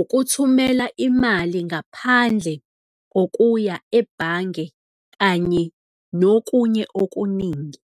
ukuthumela imali ngaphandle kokuya ebhange kanye nokunye okuningi.